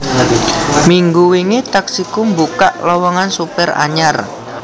Minggu wingi Taksiku mbukak lowongan supir anyar